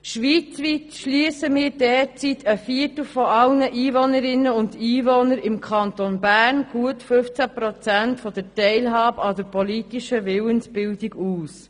Schweizweit schliessen wir derzeit ein Viertel aller Einwohnerinnen und Einwohner – im Kanton Bern gut 15 Prozent – von der Teilhabe an der politischen Willensbildung aus.